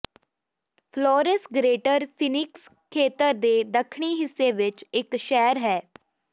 Flores greater Phoenix ਖੇਤਰ ਦੇ ਦੱਖਣੀ ਹਿੱਸੇ ਵਿੱਚ ਇੱਕ ਸ਼ਹਿਰ ਹੈ